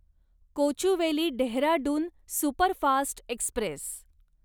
Kochuveli Dehradun superfast Express